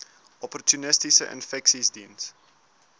opportunistiese infeksies diens